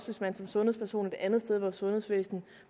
hvis man som sundhedsperson et andet sted i vores sundhedsvæsen